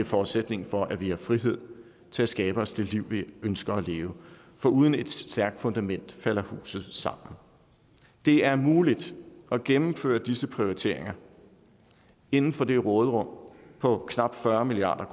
forudsætning for at vi har frihed til at skabe os det liv vi ønsker at leve for uden et stærkt fundament falder huset sammen det er muligt at gennemføre disse prioriteringer inden for det råderum på knap fyrre milliard